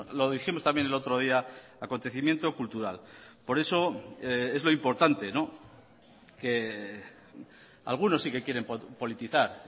lo dijimos también el otro día acontecimiento cultural por eso es lo importante que algunos sí que quieren politizar